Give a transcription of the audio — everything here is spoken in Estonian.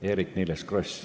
Eerik-Niiles Kross.